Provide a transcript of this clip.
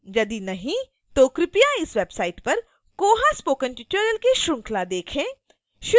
यदि नहीं तो कृपया इस website पर koha spoken tutorial की श्रृंखला देखें